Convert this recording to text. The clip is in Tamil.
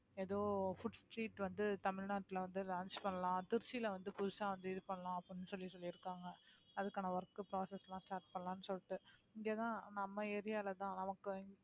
ஏதோ food street வந்து தமிழ்நாட்டுல வந்து launch பண்ணலாம் திருச்சில வந்து புதுசா வந்து இது பண்ணலாம் அப்படின்னு சொல்லி சொல்லிருக்காங்க அதுக்கான work process எல்லாம் start பண்ணலாம்ன்னு சொல்லிட்டு இங்கதான் நம்ம area லதான் நமக்கு